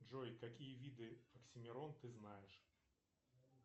джой какие виды оксимирон ты знаешь